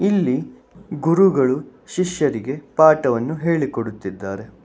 ಇಲ್ಲಿ ಗುರುಗಳು ಶಿಷ್ಯರಿಗೆ ಪಾಠವನ್ನು ಹೇಳಿಕೊಡುತ್ತಿದ್ದಾರೆ.